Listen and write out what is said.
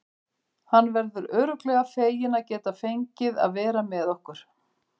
Hann verður örugglega feginn að geta fengið að vera með okkur.